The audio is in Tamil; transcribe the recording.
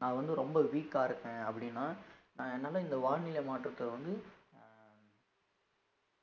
நான் வந்து ரொம்ப weak ஆ இருக்கேன் அப்படின்னா நான் என்னால இந்த வானிலை மாற்றத்தை வந்து அஹ்